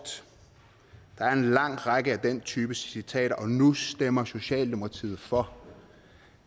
der er en lang række af den type citater og nu stemmer socialdemokratiet for